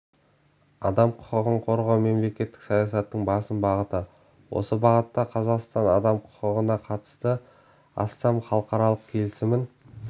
адам құқығын қорғау мемлекеттік саясаттың басым бағыты осы бағытта қазақстан адам құқығына қатысты астам халықаралық келісімін